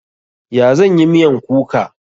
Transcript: Ya zan yi miyan kuka?